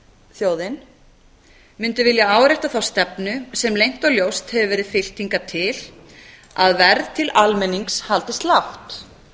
þjóðin mundi vilja árétta þá stefnu sem leynt og ljóst hefur verið fylgt hingað til að verð til almennings haldist lágt